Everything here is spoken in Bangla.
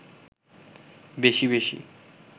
বেশি বেশি